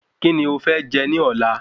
Kíni o fẹ́ jẹ ní ọ̀lá?